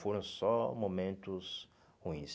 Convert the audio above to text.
Foram só momentos ruins.